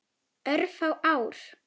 Örfá ár.